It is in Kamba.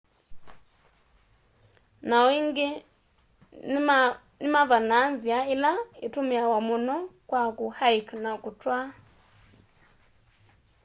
na o ingi nimavanaa nzia ila itumiawa muno kwa ku hike na kutwaa